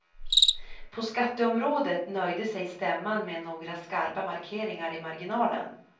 På skatteområdet nöjde sig stämman med några skarpa markeringar i marginalen.